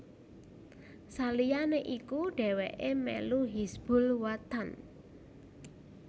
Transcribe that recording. Saliyané iku dhéwéké melu Hizbul Wathan